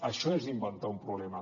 això és inventar un problema